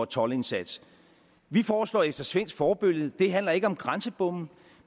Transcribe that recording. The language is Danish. toldindsats vi foreslår efter svensk forbillede det handler ikke om grænsebomme